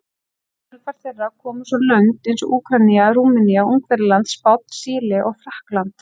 Í kjölfar þeirra komu svo lönd eins og Úkraína, Rúmenía, Ungverjaland, Spánn, Síle og Frakkland.